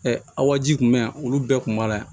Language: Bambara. aw ka ji kun bɛ yan olu bɛɛ tun b'a la yan